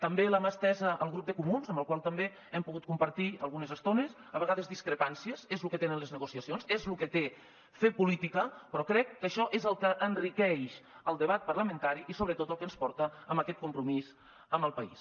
també la mà estesa al grup de comuns amb el qual també hem pogut compartir algunes estones a vegades discrepàncies és lo que tenen les negociacions és lo que té fer política però crec que això és el que enriqueix el debat parlamentari i sobretot el que ens porta a aquest compromís amb el país